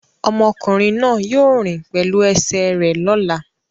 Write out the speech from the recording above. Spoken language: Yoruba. Ọmọkùnrin náà yóò rìn pẹ̀lú ẹsẹ̀ rẹ̀ lọ́la.